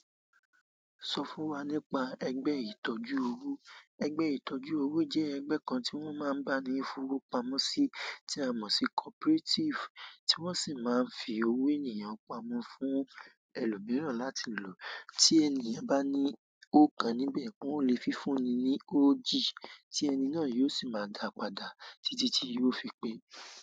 Sọ fún wa nípa ẹgbẹ́ ìtọ́jú owó. Ẹgbẹ́ ìtọ́jú owó jẹ́ ẹgbẹ́ kan tí wọ́n máa ń bá ni fowó pamọ́ sí tí a mọ̀ sí cooperative, tí wọ́n sì máa ń fi owó ènìyàn pamọ́ fún ẹlòmíràn láti lò. Tí ènìyàn bá ní o kan níbẹ̀, wọn o le fi fúnni ní oji tí ẹni náà yóò sì máa dàá padà títí tí yóò fi pé.